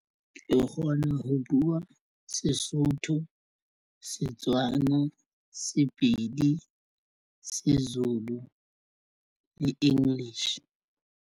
Re kgona ho buwa Sesotho, Setswana, Sepedi se Zulu le English.